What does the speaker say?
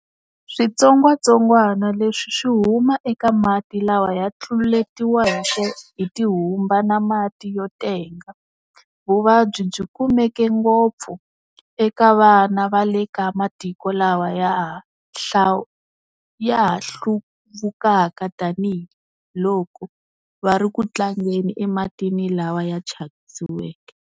Switsongwatsongana leswi swi huma eka mati lawa ya tluletiweke hi tihumba ta mati yo tenga Vuvabyi byi kumeka ngopfu eka vana va le ka matiko lawa ya ha hluvukaka tanihi loko va ri ku tlangela ematini lawa ya tshakisiweke.